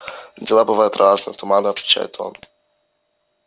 дела бывают разные туманно отвечает он